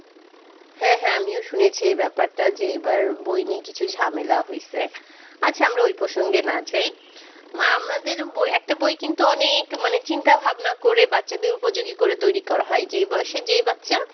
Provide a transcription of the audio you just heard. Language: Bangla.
হ্যাঁ হ্যাঁ আমিও শুনেছি এই ব্যাপারটা যে এবার বই নিয়ে কিছু ঝামেলা হয়েছে। আচ্ছা আমরা ওই প্রসঙ্গে না যাই আমাদের বই একটা বই কিন্তু অনেক মানে চিন্তা-ভাবনা করে বাচ্চাদের উপযোগী করে তৈরি করা হয়। যে বয়সে যে বাচ্চা